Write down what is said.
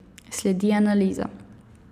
Sledi analiza.